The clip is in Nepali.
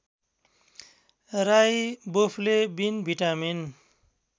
riboflavin vitamin